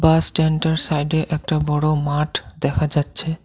বাস স্ট্যান্ডটার সাইডে একটা বড় মাঠ দেখা যাচ্ছে।